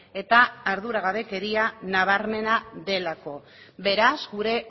eta arduragabekeria nabarmena delako beraz gure